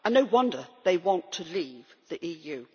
No wonder they want to leave the EU.